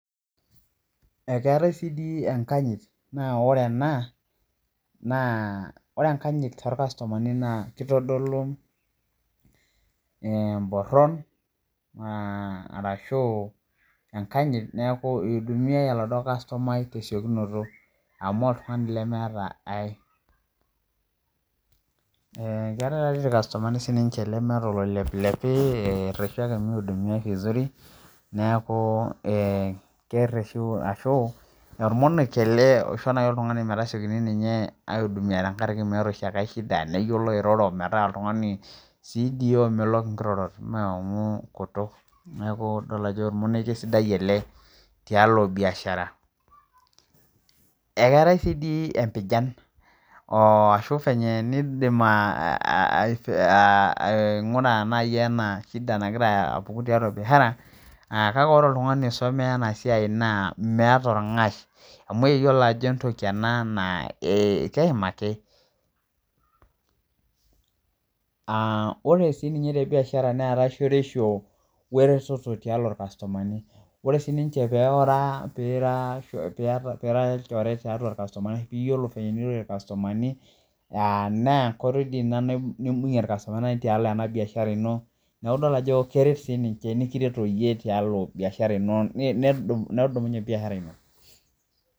Keetai sii dii enkanyit naa ore ena naa ore enkanyit tolkastumani naa kitodolu emborhon arashu enkanyit niaku ihudunmiai oladuo kastomai tesiokinoto amu oltungani lemeeta ai Keetai taa sii ilkastumani siininje lemeeta oloepilepi elotu ake nihudumiai esidai kerheshu ashuolmonekie ele oisho nai oltung'ani mekitipiki ninye aihudumia amu meeta sii engae shida neyiolo airoro metaa oltung'ani sii dii omelok ngirorot naa amu ngutuk nidol ajo olmonekie sidai ele tialo biashara Ekeetai taa dii sii biashara ashu venye nin'dim aingura nai ena shida nagira apuku tiatua biashara kake ore oltung'ani oisomea ena siai naa meeta olng'ash amu eyiolo ajo entoki ena naa keim ake Ore siininye ye biashara neetai shoreisho were weretoto tialo ilkastumani ore sii piira olchore tiatua ilkastumani iyio venyenirorie ilkastumani aah naa enkoitoi dii ina nim'bungie ilkastumani tialo ena biashara ino niaku idol ajo keret siininje nekiret siiyie tialo biashara ino nedumunye biashara ino